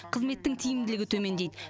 қызметтің тиімділігі төмендейді